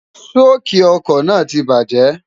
ṣóòkì ọkọ̀ náà ti bajẹ́